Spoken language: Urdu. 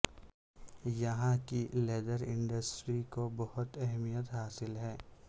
یہاں کی لیدر انڈسٹری کو بہت اہمیت حاصل ہے